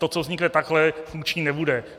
To, co vznikne takhle, funkční nebude.